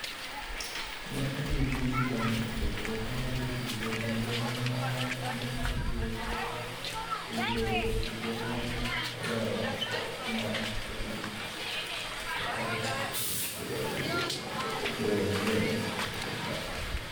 Ne odhi gi Zidane e chokruok mar jotugo kendo nowacho ni obiro hero sundo jatugo mane oloyo Kop mar Piny 1998 mondo odong' e timno.